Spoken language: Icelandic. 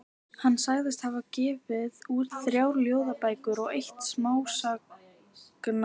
Hann sagðist hafa gefið út þrjár ljóðabækur og eitt smásagnasafn.